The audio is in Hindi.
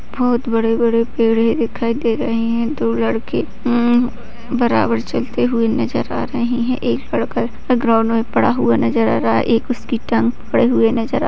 बहुत बड़े-बड़े पेड़ है दिखाई दे रहे हैं दो लड़के बराबर चलते हुए नजर आ रहे हैं एक लड़का ग्राउंड में पड़ा हुआ नजर आ रहा है एक उसकी टांग पकड़े हुए नजर --